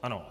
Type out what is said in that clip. Ano.